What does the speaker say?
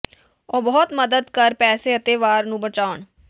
ਉਹ ਬਹੁਤ ਮਦਦ ਕਰ ਪੈਸੇ ਅਤੇ ਵਾਰ ਨੂੰ ਬਚਾਉਣ